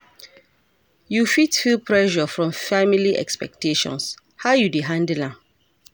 You fit feel pressure from family expectations, how you dey handle am?